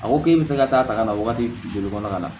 A ko k'e bɛ se ka taa ta ka na waati joli kɔnɔ ka na